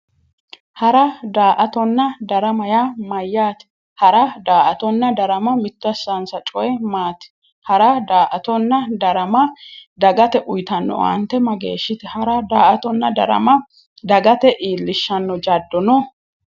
hara daa''atonna darama yaa mayyaate hara daa''atonna darama mitto assannonsa coyi maati? hara daa''atonna darama dagate uyiitnno owaante mageeshshite? hara daa''atonna darama dagate iillishshanno jaddo no?